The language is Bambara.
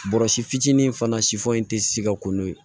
Bɔrɔsi fitinin fana si foyi tɛ si ka ko n'o ye